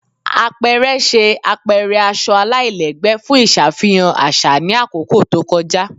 Apẹrẹ ṣe apẹrẹ aṣọ alailẹgbẹ fun iṣafihan aṣa ni akoko to kọja